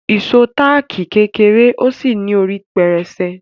Ìṣó táàkì kéré ó sì ní orí pẹrẹsẹ.